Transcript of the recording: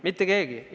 Mitte keegi!